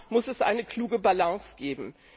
Auch da muss es eine kluge Balance geben.